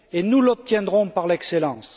Et nous y parviendrons par l'excellence.